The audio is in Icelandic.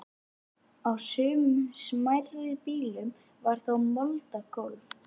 Á sumum smærri býlum var þó moldargólf.